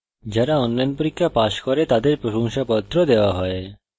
যারা online পরীক্ষা pass করে তাদের প্রশংসাপত্র certificates ও দেওয়া হয়